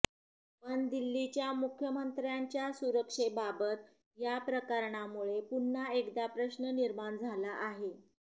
पण दिल्लीच्या मुख्यमंत्र्यांच्या सुरक्षेबाबत या प्रकरणामुळे पुन्हा एकदा प्रश्न निर्माण झाला आहे